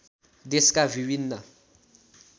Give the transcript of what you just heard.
देशका विभिन्न